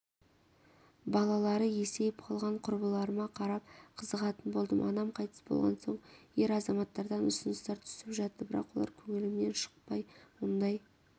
балалары есейіп қалған құрбыларыма қарап қызығатын болдым анам қайтыс болған соң ер азаматтардан ұсыныстар түсіп жатты бірақ олар көңілімнен шықпай ондай